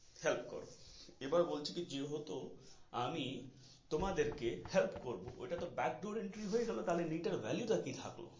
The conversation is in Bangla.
help করো আবার বলছে কি যেহতো আমি তোমাদেরকে help করবো ওটা তো backdoor entry হয়ে গেলো তাহলে NEET এর value টা কি থাকলো.